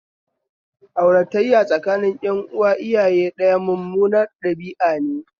Aurataya tsakanin ƴan uwa iyaye ɗaya mummunar ɗabi'ane